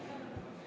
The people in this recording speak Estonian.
Austatud eesistuja!